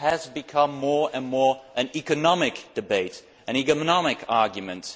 It has become more and more an economic debate, an economic argument.